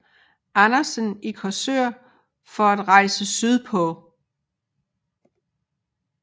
Andersen i Korsør for at rejse sydpå